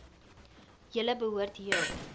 julle behoort heel